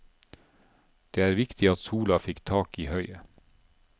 Det var viktig at sola fikk tak i høyet.